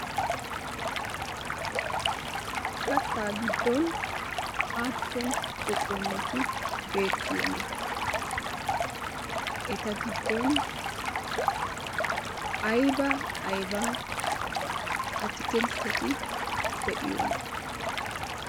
Kattaa giddon aappun phuphuleti beettiyona? Eta giddon ayba ayba atakkiltetti de'iyonaa?